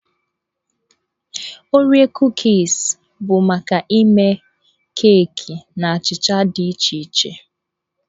Oreo Kuukis bụ maka ịme keeki na achịcha dị iche iche.